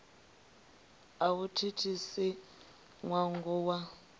a vhu thithisi ṅwongo wa